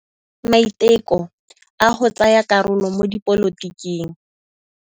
O dirile maitekô a go tsaya karolo mo dipolotiking.